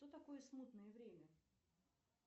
что такое смутное время